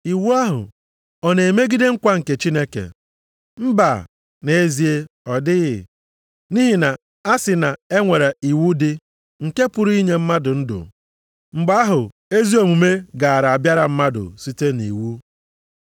Iwu ahụ ọ na-emegide nkwa nke Chineke? Mba. Nʼezie ọ dịghị. Nʼihi na a sị na e nwere iwu dị nke pụrụ inye mmadụ ndụ, mgbe ahụ, ezi omume gaara abịara mmadụ site nʼiwu.